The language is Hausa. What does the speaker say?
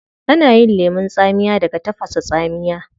Ana yin lemun tsamiya daga tafasa tsamiya